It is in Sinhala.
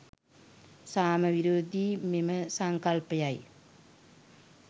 සාම විරෝධි මෙම සංකල්පයයි.